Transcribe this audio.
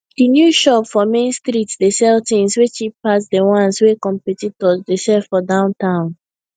di new shop for main street dey sell things wey cheap pass di ones wey competitors dey sell for downtown